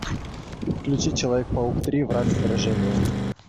включи человек паук три враг в отражении